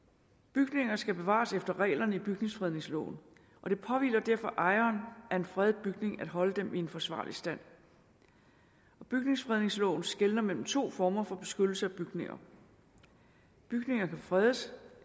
bygninger skal bevares efter reglerne i bygningsfredningsloven og det påhviler derfor ejeren af en fredet bygning at holde den i forsvarlig stand bygningsfredningsloven skelner mellem to former for beskyttelse af bygninger bygninger kan fredes